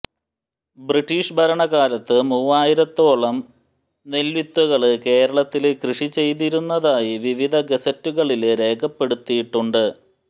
British ഭരണകാലത്ത് മൂവായിരത്തോളം നെല്വിത്തുകള് കേരളത്തില് കൃഷിചെയ്തിരുന്നതായി വിവിധ ഗസറ്റുകളില് രേഖപ്പെടുത്തിയിട്ടുണ്ട്